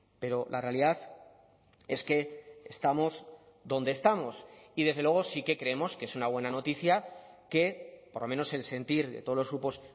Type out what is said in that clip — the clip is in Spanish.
pero la realidad es que estamos donde estamos y desde luego sí que creemos que es una buena noticia que por lo menos el sentir de todos los grupos